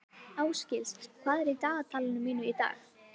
Ásgils, hvað er í dagatalinu mínu í dag?